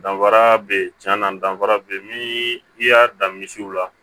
Danfara beyi tiɲɛ na danfara be ye nii i y'a dan misiw la